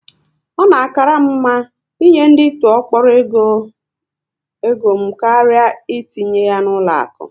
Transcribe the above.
Ọ na akalu m mma ị nye ndị tụọ kpọrọ égo m karịa etinye ya na ụlọ akụ